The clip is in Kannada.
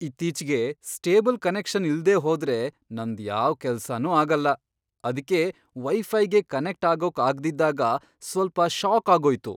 ಇತ್ತೀಚ್ಗೆ ಸ್ಟೇಬಲ್ ಕನೆಕ್ಷನ್ ಇಲ್ದೇ ಹೋದ್ರೆ ನಂದ್ ಯಾವ್ ಕೆಲ್ಸನೂ ಆಗಲ್ಲ. ಅದ್ಕೇ ವೈಫೈಗೆ ಕನೆಕ್ಟ್ ಆಗೋಕ್ ಆಗ್ದಿದ್ದಾಗ ಸ್ವಲ್ಪ ಷಾಕ್ ಆಗೋಯ್ತು.